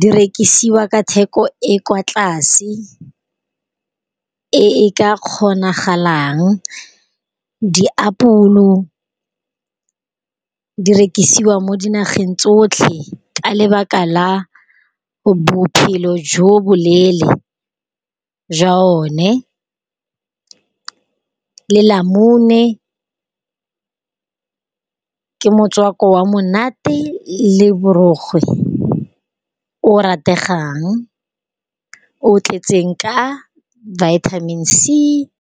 Di rekisiwa ka theko e kwa tlase, e e ka kgonagalang. Di apole di rekisiwa mo di nageng tsotlhe ka lebaka la bophelo jo bo leele, jwa one le lamune, ka motswako wa monate le borokgwe o rategang. O tletseng ka vitamin c.